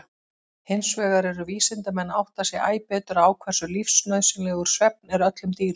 Hinsvegar eru vísindamenn að átta sig æ betur á hversu lífsnauðsynlegur svefn er öllum dýrum.